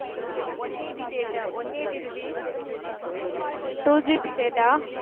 A, one eighty data, one eighty rupees. two GB data